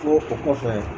Fo o kɔfɛ